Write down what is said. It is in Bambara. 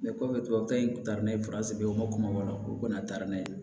Ne kɔfɛ tubabukan in kun taara n'a ye u ma kuma bɔ a la u kɔni taara n'a ye